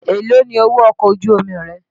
Èlóò ni owó ọkọ̀ ojú omi rẹ?